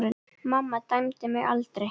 Mamma dæmdi mig aldrei.